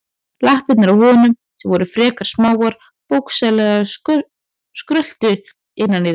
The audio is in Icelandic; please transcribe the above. Lappirnar á honum, sem voru frekar smáar, bókstaflega skröltu innan í þeim.